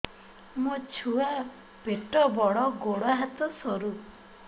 ମୋ ଛୁଆ ପେଟ ବଡ଼ ଗୋଡ଼ ହାତ ସରୁ